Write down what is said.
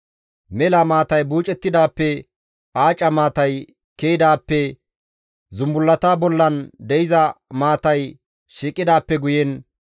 Mela maatay buucettidaappe, aaca maatay ke7idaappe, zumbullata bollan de7iza maatay shiiqidaappe guyen,